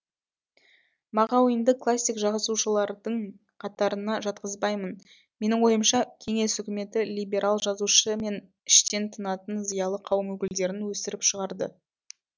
мағауинді классик жазушылардың қатарына жатқызбаймын менің ойымша кеңес үкіметі либерал жазушы мен іштен тынатын зиялы қауым өкілдерін өсіріп шығарды